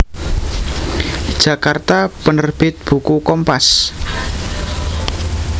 Jakarta Penerbit Buku Kompas